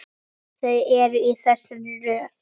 Þau eru í þessari röð: